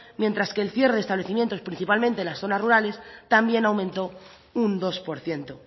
mientras que el cierre de establecimientos principalmente en las zonas rurales también aumentó un dos por ciento